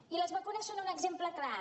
i les vacunes en són un exemple clar